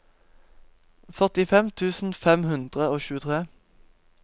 førtifem tusen fem hundre og tjuetre